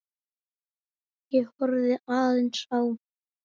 Ég horfði aðeins á